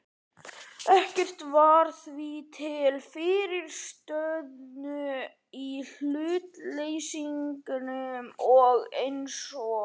Ekkert var því til fyrirstöðu í hlutleysisreglum, en eins og